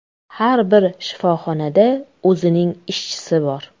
Har bir shifoxonada o‘zining ishchisi bor.